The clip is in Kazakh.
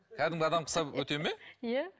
кәдімгі адамға ұқсап өте ме иә